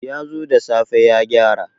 Ya zo da safe ya gyara.